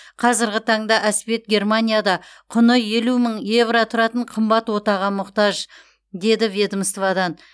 қазіргі таңда әспет германияда құны елу мың евро тұратын қымбат отаға мұқтаж дейді ведомстводан